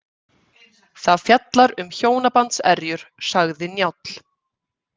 Það fjallar um hjónabandserjur, sagði Njáll.